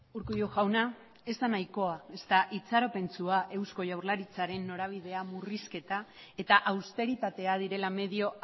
urkullu jauna ez da nahikoa ezta itxaropentsua eusko jaurlaritzaren norabidea murrizketa eta austeritatea direla medio